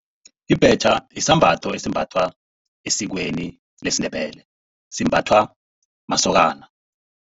Ibhetjha sisambatho esimbathwa esikweni lesiNdebele. Simbathwa masokana.